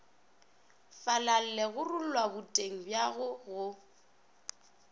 falale gorulla boteng bjago go